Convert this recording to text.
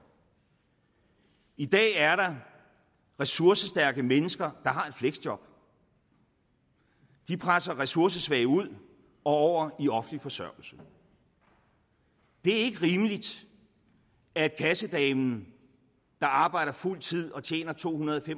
i dag er der ressourcestærke mennesker der har et fleksjob de presser ressourcesvage ud og over i offentlig forsørgelse det er ikke rimeligt at kassedamen der arbejder fuldtid og tjener tohundrede